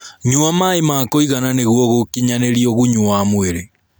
Nyua maĩ ma kũigana nĩguo gũkinyanĩrĩa ũgunyu wa mwĩrĩ